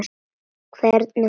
Hvernig hún hló.